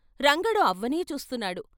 రంగడు అవ్వనే చూస్తున్నాడు.